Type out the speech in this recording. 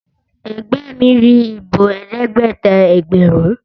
Ẹgbẹ́ mi rí ìbò Ẹ̀ẹ́dẹ́gbẹ̀ta ẹgbẹ̀rún.